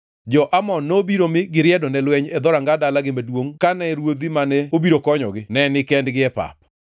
Jo-Amon nobiro mi giriedo ne lweny e dhoranga dalagi maduongʼ kane ruodhi mane obiro konyogi ne nikendgi e pap.